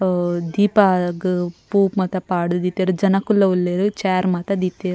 ಆ ದೀಪ ಆದ್ ಪೂ ಮಾತ ಪಾಡ್ದ್ ದೀತೆರ್ ಜನಕ್ಕುಲ್ಲ ಉಲ್ಲೆರ್ ಚೇರ್ ಮಾತ ದೀತೆರ್.